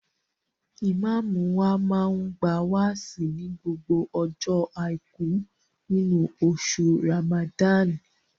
Ìmáàmù wa máa ń gba wáàsí ní gbogbo ọjọ́ Àìkú nínú oṣù Ràmàdáànì